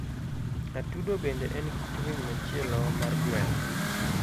Atudobende en kit winy machielo mar gweno.